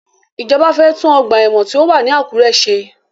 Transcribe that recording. Ìjọba fẹ́ tún ọgbà ẹ̀wọ̀n tí ó wà ní Àkúré ṣe.